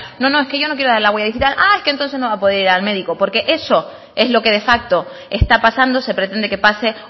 no no es que yo no quiero dar la huella digital ah es que entonces no va a poder ir al médico porque eso es lo que de facto está pasando se pretende que pase